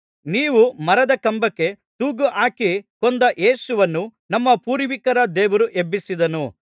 ನೀವು ಮರದ ಕಂಬಕ್ಕೆ ತೂಗಹಾಕಿ ಕೊಂದ ಯೇಸುವನ್ನು ನಮ್ಮ ಪೂರ್ವಿಕರ ದೇವರು ಎಬ್ಬಿಸಿದನು